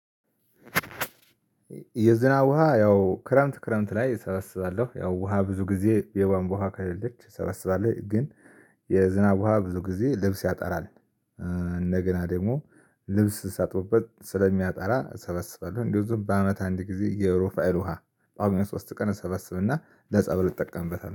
የዝናብ ውሃ ያው ክረምት ክረምት ላይ እሰባስባለሁ ያው ውሃ ብዙ ጊዜ የቧንቧ ውሃ ከሌለች እሰበስባለሁ ግን የዝናብ ውሃ ብዙ ጊዜ ልብስ ያጣራል እንደገና ደግሞ ልብስ ሳጥቡበት ስለሚያጠራ እሰበስባለሁ። እንደዚሁም በአመት አንድ ጊዜ የሮፋኤል ውሃ ቋግሜ ሶስት ቀን እሰበስብና ለፀበሉ እጠቀምበታለሁ